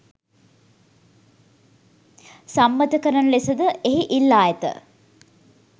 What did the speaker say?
සම්මත කරන ලෙස ද එහි ඉල්ලා ඇත